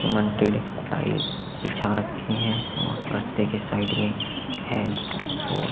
बिछा रखे है और रस्ते के साइड है और--